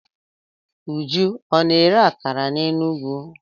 Uju a na-ere akara n'Enugwu?